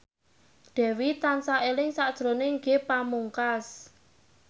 Dewi tansah eling sakjroning Ge Pamungkas